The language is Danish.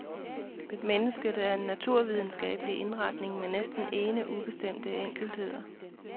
Mennesket er en naturvidenskabelig indretning med næsten ene ubestemte enkeltheder.